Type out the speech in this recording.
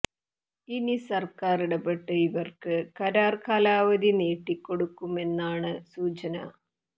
ഇനി സർക്കാർ ഇടപെട്ട് ഇവർക്ക് കരാർ കാലാവധി നീട്ടി കൊടുക്കുമെന്നാണ് സൂചന